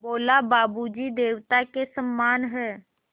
बोला बाबू जी देवता के समान हैं